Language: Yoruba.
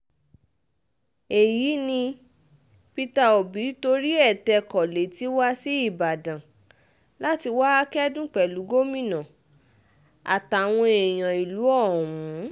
èyí ni peter obi torí ẹ̀ tẹkọ̀ lẹ́tì wá sí ìbàdàn láti wáá kẹ́dùn pẹ̀lú gómìnà àtàwọn èèyàn ìlú ọ̀hún